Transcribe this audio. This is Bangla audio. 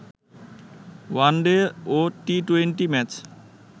ওয়ানডে ও টি-টোয়েন্টি ম্যাচ